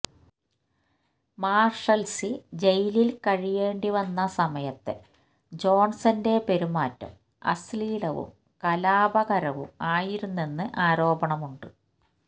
Marshalsea ജെയിലിൽ കഴിയേണ്ടി വന്ന സമയത്തെ ജോൺസന്റെ പെരുമാറ്റം അശ്ലീലവും കലാപകരവും ആയിരുന്നെന്ന് ആരോപണമുണ്ട്